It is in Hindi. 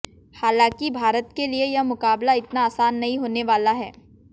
हालांकि भारत के लिए यह मुकाबला इतना आसान नहीं होने वाला है